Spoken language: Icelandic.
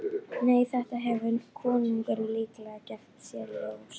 Nei, þetta hefur konungurinn líklega gert sér ljóst.